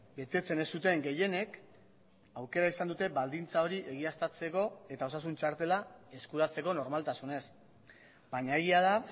betetzen ez zuten gehienek aukera izan dute baldintza hori egiaztatzeko eta osasun txartela eskuratzeko normaltasunez baina egia da